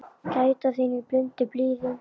Gæta þín í blundi blíðum.